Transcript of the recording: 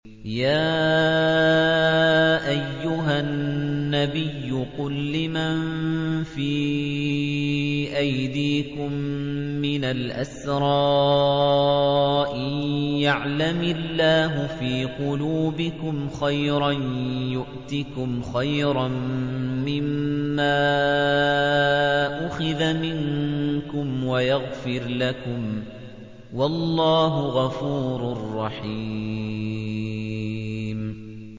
يَا أَيُّهَا النَّبِيُّ قُل لِّمَن فِي أَيْدِيكُم مِّنَ الْأَسْرَىٰ إِن يَعْلَمِ اللَّهُ فِي قُلُوبِكُمْ خَيْرًا يُؤْتِكُمْ خَيْرًا مِّمَّا أُخِذَ مِنكُمْ وَيَغْفِرْ لَكُمْ ۗ وَاللَّهُ غَفُورٌ رَّحِيمٌ